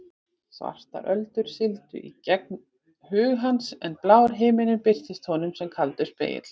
Svartar öldur sigldu í gegnum hug hans en blár himinninn birtist honum sem kaldur spegill.